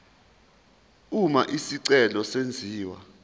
uma isicelo senziwa